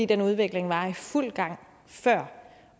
den udvikling var i fuld gang før